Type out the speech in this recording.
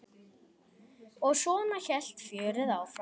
Og svona hélt fjörið áfram.